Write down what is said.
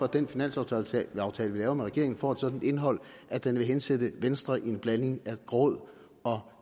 den finanslovsaftale vi laver med regeringen får et sådant indhold at den vil hensætte venstre i en blanding af gråd og